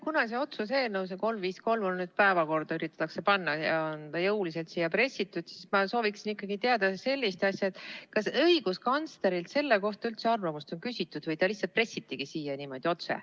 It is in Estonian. Kuna seda otsuse eelnõu 353 üritatakse nüüd päevakorda panna ja see on jõuliselt siia pressitud, siis ma sooviksin ikkagi teada, kas õiguskantslerilt on selle kohta üldse arvamust küsitud või see lihtsalt pressitigi siia?